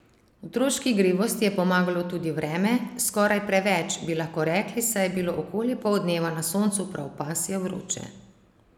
Otroški igrivosti je pomagalo tudi vreme, skoraj preveč, bi lahko rekli, saj je bilo okoli poldneva na soncu prav pasje vroče.